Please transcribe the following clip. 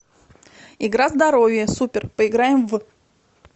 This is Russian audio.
игра здоровье супер поиграем в